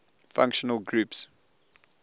functional groups